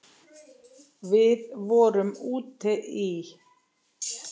Við vorum úti í